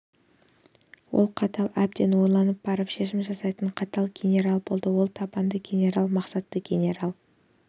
ол қатал әбден ойланып барып шешім жасайтын қатал генерал болды ол табанды генерал мақсатты генерал